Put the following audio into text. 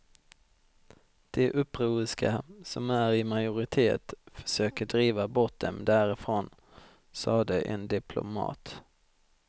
De upproriska, som är i majoritet, försöker driva bort dem därifrån, sade en diplomat.